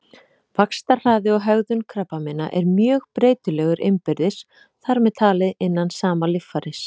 Vaxtarhraði og hegðun krabbameina er mjög breytilegur innbyrðis, þar með talið innan sama líffæris.